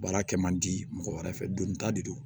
Baara kɛ man di mɔgɔ wɛrɛ fɛ don ta de don